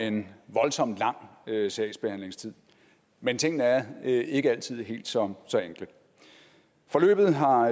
en voldsom lang sagsbehandlingstid men tingene er ikke altid helt så så enkle forløbet har